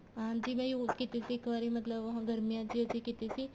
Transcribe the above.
ਹਾਂਜੀ ਮੈਂ use ਕੀਤੀ ਸੀ ਇੱਕ ਵਾਰੀ ਮਤਲਬ ਗਰਮੀਆਂ ਚ ਅਸੀਂ ਕੀਤੀ ਸੀ